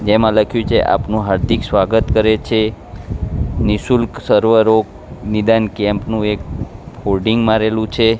જેમાં લખ્યુ છે આપનું હાર્દિક સ્વાગત કરે છે નિશુલ્ક સર્વ રોગ નિદાન કેમ્પ નું એક હોડિંગ મારેલું છે.